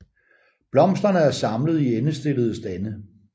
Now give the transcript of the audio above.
Blomsterne er samlet i endestillede stande